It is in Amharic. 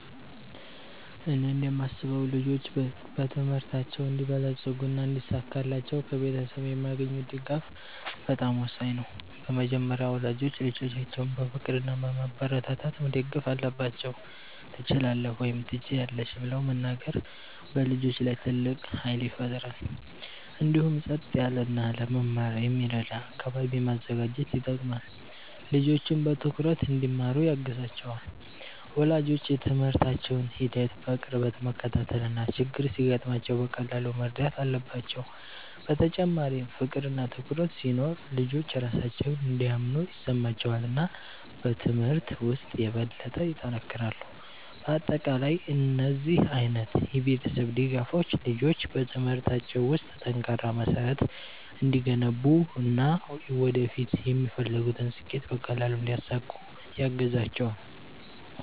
እኔ እንደማስበው ልጆች በትምህርታቸው እንዲበለጽጉና እንዲሳካላቸው ከቤተሰብ የሚያገኙት ድጋፍ በጣም ወሳኝ ነው። በመጀመሪያ ወላጆች ልጆቻቸውን በፍቅር እና በማበረታታት መደገፍ አለባቸው፤ “ትችላለህ” ወይም “ትችያለሽ ” ብለው መናገር በልጆች ላይ ትልቅ ኃይል ይፈጥራል። እንዲሁም ጸጥ ያለ እና ለመማር የሚረዳ አካባቢ ማዘጋጀት ይጠቅማል፣ ልጆችም በትኩረት እንዲማሩ ያግዛቸዋል። ወላጆች የትምህርታቸውን ሂደት በቅርበት መከታተል እና ችግር ሲገጥማቸው በቀላሉ መርዳት አለባቸው። በተጨማሪም ፍቅር እና ትኩረት ሲኖር ልጆች ራሳቸውን እንደሚያምኑ ይሰማቸዋል እና በትምህርት ውስጥ የበለጠ ይጠነክራሉ። በአጠቃላይ እነዚህ ዓይነት የቤተሰብ ድጋፎች ልጆች በትምህርታቸው ውስጥ ጠንካራ መሠረት እንዲገነቡ እና ወደፊት የሚፈልጉትን ስኬት በቀላሉ እንዲያሳኩ ያግዛቸዋል።